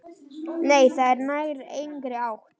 Nei, það nær engri átt.